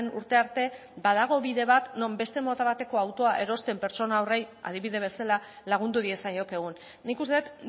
urte arte badago bide bat non beste mota bateko autoa erosten pertsona horri adibide bezala lagundu diezaiokegun nik uste dut